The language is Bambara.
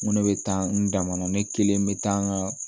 Ŋo ne be taa n dama ne kelen be taa n ŋaa